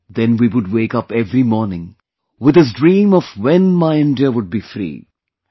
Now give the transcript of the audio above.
Then we would wake up every morning with this dream of when my India would be free...